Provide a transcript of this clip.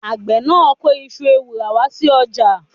Àgbẹ̀ náà kó iṣu ewùrà wá sí ọjà.